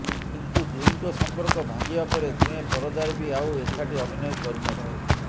କିନ୍ତୁ ଦୁହିଁଙ୍କ ସମ୍ପର୍କ ଭାଙ୍ଗିବା ପରେ ଦୁହେଁ ପରଦାରେ ବି ଆଉ ଏକାଠି ଅଭିନୟ କରିନଥିଲେ